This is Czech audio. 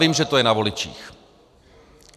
Vím, že to je na voličích.